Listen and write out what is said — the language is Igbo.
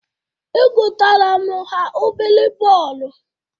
Egotara m ha obere bọọlụ.